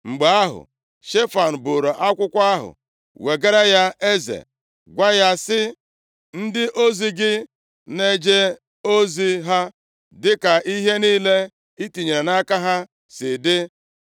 Mgbe ahụ, Shefan buuru akwụkwọ ahụ wegara ya eze, gwa ya sị, “Ndị ozi gị na-eje ozi ha dịka ihe niile i tinyere ha nʼaka si dị.